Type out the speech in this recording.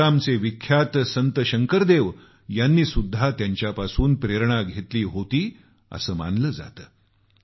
आसामचे विख्यात संत शंकरदेव यांनीसुद्धा त्यांच्यापासून प्रेरणा घेतली होती असं मानलं जातं